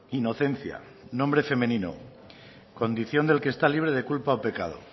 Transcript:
inocencia nombre femenino condición de lo que está libre de culpa o pecado